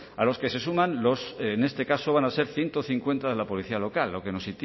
a los que se suman los en este caso van a ser ciento cincuenta de la policía local lo que nos